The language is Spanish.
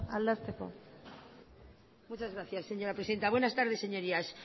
aldezteko muchas gracias señora presidenta buenas tardes señorías